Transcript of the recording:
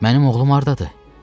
Mənim oğlum hardadır?